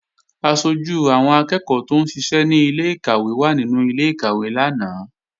Aṣojú àwọn akẹ́ẹ̀kọ́ tóún ṣiṣẹ́ ní ilé-ìkàwé wà nínú ilé-ìkàwé lánàá